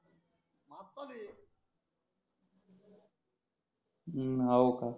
हम्म हो का